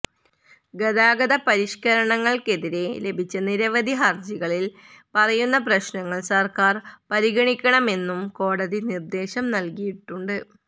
ഗതാഗത പരിഷ്കരണങ്ങള്ക്കെതിരേ ലഭിച്ച നിരവധി ഹര്ജികളില് പറയുന്ന പ്രശ്നങ്ങള് സര്ക്കാര് പരിഗണിക്കണമെന്നും കോടതി നിര്ദേശം നല്കിയിട്ടുണ്ട്